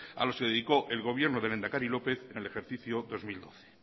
a los que dedicó el gobierno del lehendakari lópez en el ejercicio dos mil doce